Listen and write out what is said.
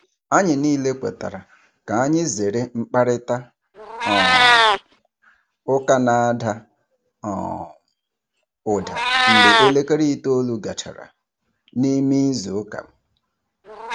Anyị niile kwetara ka anyị zere mkparịta um ụka na-ada um ụda mgbe elekere itoolu gachara. n'ịme izu ụka.